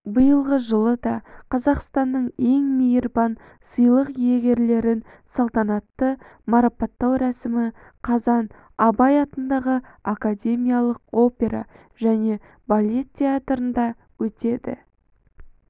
биылғы жылы да қазақстанның ең мейірбан сыйлық иегерлерін салтанатты марапаттау рәсімі қазан абай атындағы академиялық опера және балет театрында өтеді